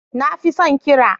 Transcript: Na fi son ƙira.